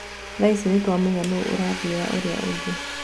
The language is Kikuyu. Thaici nĩtũamenya nũũ ũrathiĩra ũrĩa ũngĩ."